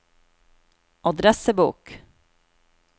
adressebok